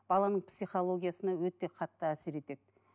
баланың психологиясына өте қатты әсер етеді